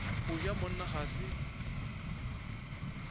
go ja monna ga se